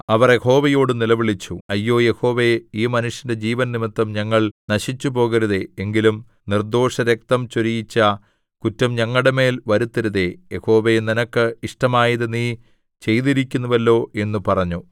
അവർ യഹോവയോടു നിലവിളിച്ചു അയ്യോ യഹോവേ ഈ മനുഷ്യന്റെ ജീവൻനിമിത്തം ഞങ്ങൾ നശിച്ചുപോകരുതേ എങ്കിലും നിർദ്ദോഷരക്തം ചൊരിയിച്ച കുറ്റം ഞങ്ങളുടെമേൽ വരുത്തരുതേ യഹോവേ നിനക്ക് ഇഷ്ടമായത് നീ ചെയ്തിരിക്കുന്നുവല്ലോ എന്നു പറഞ്ഞു